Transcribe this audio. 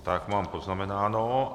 Tak mám poznamenáno.